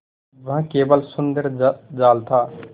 वह केवल सुंदर जाल था